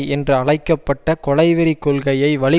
என்று அழைக்க பட்ட கொலை வெறி கொள்கையை வழி